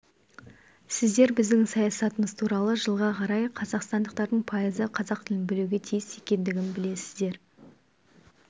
сіздер біздің саясатымыз туралы жылға қарай қазақстандықтардың пайызы қазақ тілін білуге тиіс екендігін білесіздер